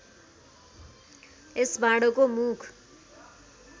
यस भाँडोको मुख